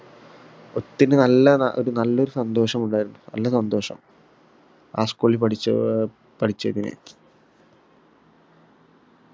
ഒത്തിരി നല്ല ന ഒര് നല്ലൊരു സന്തോഷം ഉണ്ടാരുന്നു നല്ല സന്തോഷം ആ school ഇൽ പഠിച്ച അഹ് പഠിച്ചതിന്